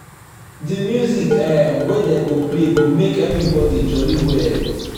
di music um wey dey play go make everybody jolly well.